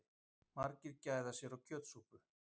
Margir gæða sér á kjötsúpu